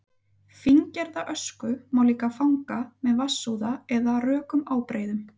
fíngerða ösku má líka fanga með vatnsúða eða rökum ábreiðum